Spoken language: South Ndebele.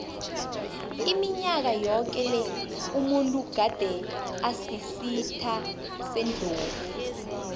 iminyaka yoke le umuntu gade asisitha sendlovu